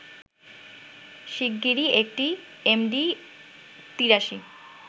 শিগগিরই একটি এমডি-৮৩